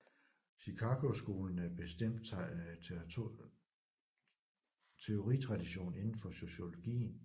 Chicagoskolen er en bestemt teoritradition inden for sociologien